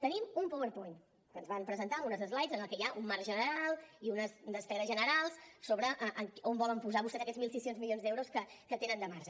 tenim un powerpoint que ens van presentar amb unes slides en què hi ha un marc general i unes despeses generals sobre on volen posar vostès aquests mil sis cents milions d’euros que tenen de marge